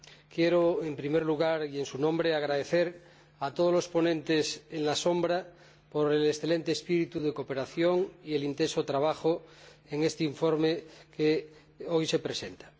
Quiero, en primer lugar y en su nombre, agradecer a todos los ponentes alternativos el excelente espíritu de cooperación y el intenso trabajo en este informe que hoy se presenta.